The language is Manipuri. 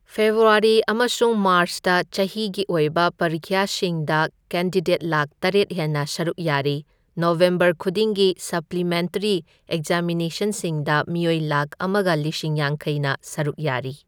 ꯐꯦꯕ꯭ꯔꯨꯋꯥꯔꯤ ꯑꯃꯁꯨꯡ ꯃꯥꯔ꯭ꯆꯇ ꯆꯍꯤꯒꯤ ꯑꯣꯏꯕ ꯄꯔꯤꯈ꯭ꯌꯥꯁꯤꯡꯗ ꯀꯦꯟꯗꯤꯗꯦꯠ ꯂꯥꯛ ꯇꯔꯦꯠ ꯍꯦꯟꯅ ꯁꯔꯨꯛ ꯌꯥꯔꯤ ꯅꯕꯦꯝꯕꯔ ꯈꯨꯗꯤꯡꯒꯤ ꯁꯄ꯭ꯂꯤꯃꯦꯟꯇꯔꯤ ꯑꯦꯛꯖꯥꯃꯤꯅꯦꯁꯟꯁꯤꯡꯗ ꯃꯤꯑꯣꯏ ꯂꯥꯛ ꯑꯃꯒ ꯂꯤꯁꯤꯡ ꯌꯥꯡꯈꯩꯅ ꯁꯔꯨꯛ ꯌꯥꯔꯤ꯫